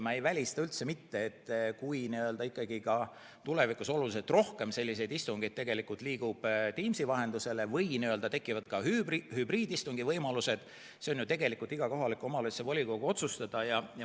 Ma ei välista, et kui tulevikus oluliselt rohkem istungeid käib Teamsi vahendusel või tekivad ka hübriidistungi võimalused, siis see, on ju tegelikult iga kohaliku omavalitsuse volikogu otsustada.